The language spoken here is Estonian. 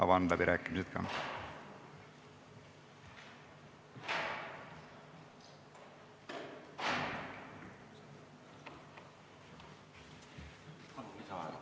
Palun!